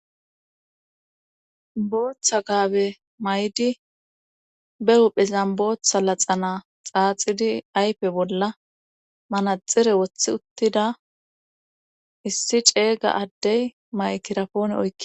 booththa gaabe may7di be huphizan booththa laxana xaaxidi aype bolla manaxere wothi uttida issi ceeyga addey maykirapoone oykke